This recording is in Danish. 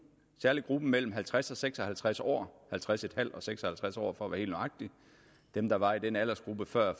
særlig gruppen mellem halvtreds og seks og halvtreds år halvtreds en halv og seks og halvtreds år for at være helt nøjagtig dem der var i den aldersgruppe før